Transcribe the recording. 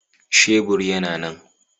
Shebur yana nan